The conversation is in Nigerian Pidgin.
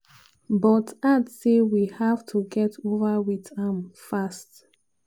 but add say "we have to get over wit am fast."